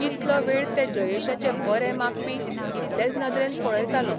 इतलो वेळ ते जयेशाचे बरे मागपी इतलेच नदरेन पळयतालों.